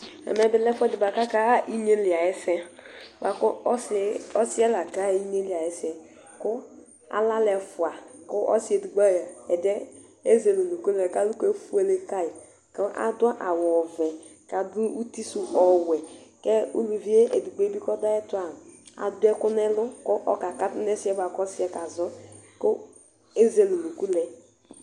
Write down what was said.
Ɛmɛ bilɛ ɛfʋɛdi bʋakʋ akaxa inyeli ayʋ ɛsɛ, bʋakʋ ɔsi yɛ lakaxa inyeli ayʋ ɛsɛ Kʋ alɛ alʋ ɛfʋa kʋ ɔsi ɛdiyɛ ɛzele ʋnʋkʋlɛ kʋ alʋkʋ efuele kayi, kʋ adʋ awʋ ovɛ, kʋ adʋ utisʋ ɔwɛ kʋ ʋlʋvi edigbo bi kʋ ɔdʋ ayʋ ɛtʋ adʋ ɛkʋ nʋ ɛlʋ kʋ ɔkakatʋ nʋ ɛsɛ yɛ kʋ ɔsi kazɔ kʋ ezele ʋnʋkʋ lɛ